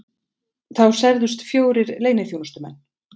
Þá særðust fjórir leyniþjónustumenn